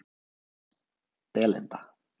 Belinda